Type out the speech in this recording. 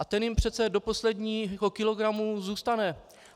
A ten jim přece do posledního kilogramu zůstane.